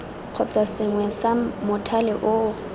kgotsa sengwe sa mothale oo